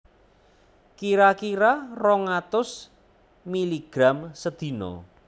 Kira kira rong atus miligram sedina